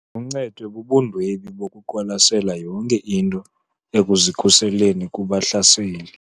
Uncedwe bubundwebi bokuqwalasela yonke into ekuzikhuseleni kubahlaseli.